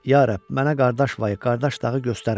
Ya Rəbb, mənə qardaş vay, qardaş dağı göstərmə!